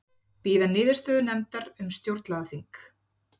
Bíða niðurstöðu nefndar um stjórnlagaþing